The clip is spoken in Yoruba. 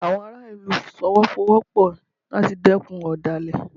Àwọn ará ìlú Fọwọ́sowọ́pọ̀ láti dẹ́kun ọ̀dàlẹ̀